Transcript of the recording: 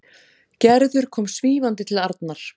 Gerður kom svífandi til Arnar.